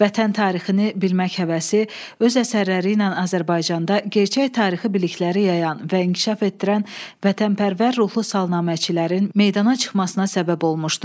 Vətən tarixini bilmək həvəsi öz əsərləri ilə Azərbaycanda gerçək tarixi bilikləri yayan və inkişaf etdirən vətənpərvər ruhlu salnaməçilərin meydana çıxmasına səbəb olmuşdu.